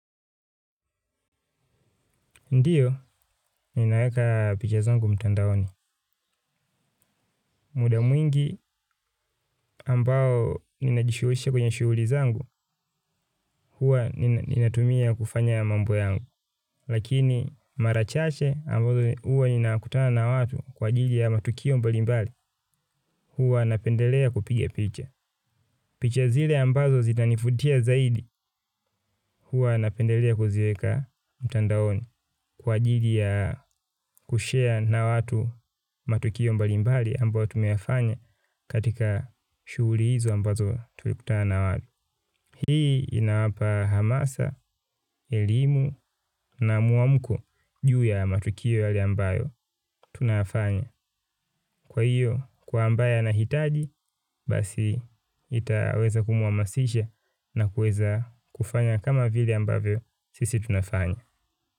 Ndiyo, ninaweka picha zangu mtandaoni. Muda mwingi ambao ninajishuhisha kwenye shuhuli zangu, hua ninatumia kufanya mambo yangu. Lakini marachache ambazo hua ninakutana na watu kwa jiji ya matukio mbalimbali, hua napendelea kupiga picha. Picha zile ambazo zitanifutia zaidi huwa napendelea kuziweka mtandaoni kwa jidi ya kushare na watu matukio mbali mbali ambayo tumeyafanya katika shuguli hizo ambazo tuliputaa na watu. Hii inaapa hamasa, elimu na muamko juu ya matukio yale ambayo tunayafanya. Kwa hiyo, kwa ambayo anahitaji, basi itaweza kumuamasisha na kueza kufanya kama vile ambavyo sisi tunafanya.